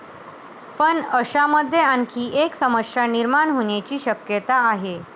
पण अशामध्ये आणखी एक समस्या निर्माण होण्याची शक्यता आहे.